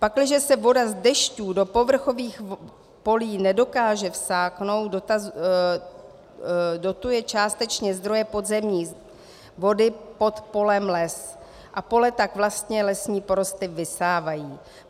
Pakliže se voda z dešťů do povrchových polí nedokáže vsáknout, dotuje částečně zdroje podzemní vody pod polem les a pole tak vlastně lesní porosty vysávají.